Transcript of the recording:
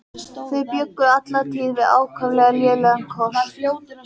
Þau bjuggu alla tíð við ákaflega lélegan kost.